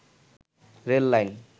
rail line